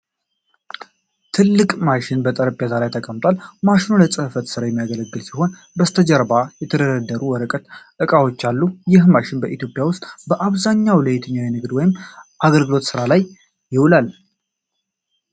ትልቅ ማሽን በጠረጴዛ ላይ ተቀምጧል። ማሽኑ ለጽሕፈት ሥራ የሚያገለግል ሲሆን፣ ከበስተጀርባም የተደረደሩ ወረቀቶችና ዕቃዎች አሉ። ይህ ማሽን በኢትዮጵያ ውስጥ በአብዛኛው ለየትኛው የንግድ ወይም የአገልግሎት ሥራ ይውላል?